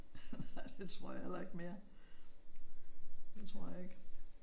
Nej det tror jeg heller ikke mere. Det tror jeg ikke